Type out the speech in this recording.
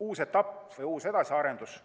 uus etapp või edasiarendus.